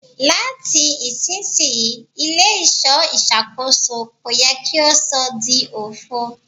Lati isisiyi ile-iṣọ iṣakoso ko yẹ ki o sọ di ofo